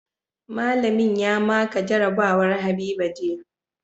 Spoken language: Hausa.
Mallamin ya maka jarabawa haiba jiya